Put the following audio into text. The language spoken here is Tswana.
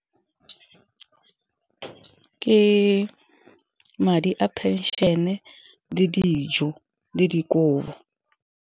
Ke madi a phenšene le dijo le dikobo.